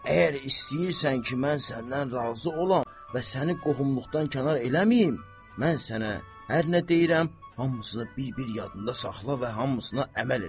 Əgər istəyirsən ki, mən səndən razı olam və səni qohumluqdan kənar eləməyim, mən sənə hər nə deyirəm, hamısını bir-bir yadında saxla və hamısına əməl elə.